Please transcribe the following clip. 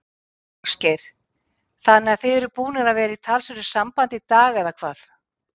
Ásgeir: Þannig að þið eruð búnir að vera í talsverðu sambandi í dag, eða hvað?